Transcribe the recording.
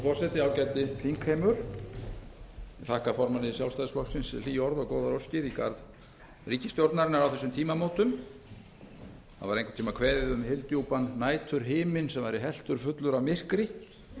forseti ágæti þingheimur ég þakka formanni sjálfstæðisflokksins hlý orð og góðar óskir í garð ríkisstjórnarinnar á þessum tímamótum það var einhvern tíma kveðið um hyldjúpan næturhimin sem væri helltur fullur af myrkri ég segi